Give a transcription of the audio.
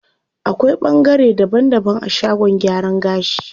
Akwai ɓangare daban daban a shagon gyaran gashi.